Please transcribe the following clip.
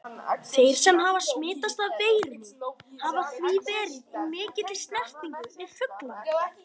Þeir sem hafa smitast af veirunni hafa því verið í mikilli snertingu við fuglana.